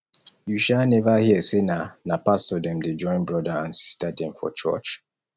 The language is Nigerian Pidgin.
you um neva hear sey na na pastor dem dey join broda and sista dem for church